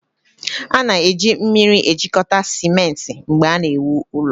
a na-eji mmiri ejikọta simenti mgbe a na-ewu ụlọ